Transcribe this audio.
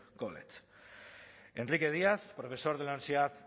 college enrique díaz profesor de la universidad